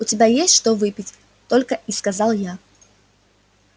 у тебя есть что выпить только и сказал я